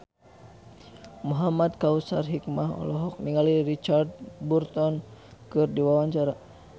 Muhamad Kautsar Hikmat olohok ningali Richard Burton keur diwawancara